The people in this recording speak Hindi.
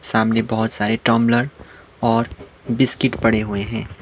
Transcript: सामने बहोत सारे टंबलर और बिस्किट पड़े हुए हैं।